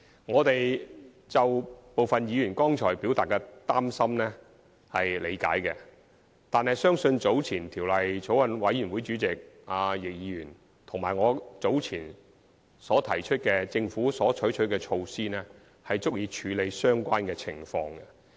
我們理解部分議員剛才表達的擔心，但相信法案委員會主席易議員和我早前提及政府所採取的措施，足以處理相關情況。